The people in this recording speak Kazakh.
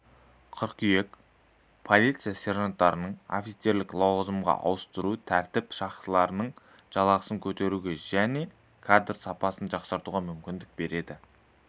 қыркүйек полиция сержанттарын офицерлік лауазымға ауыстыру тәртіп сақшыларының жалақысын көтеруге және кадр сапасын жақсартуға мүмкіндік береді